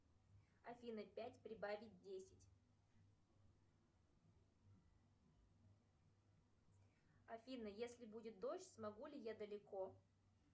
афина пять прибавить десять афина если будет дождь смогу ли я далеко